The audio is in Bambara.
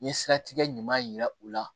N ye siratigɛ ɲuman yira u la